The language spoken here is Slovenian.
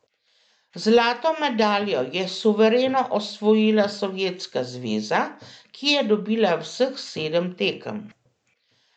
Zlato medaljo je suvereno osvojila Sovjetska zveza, ki je dobila vseh sedem tekem.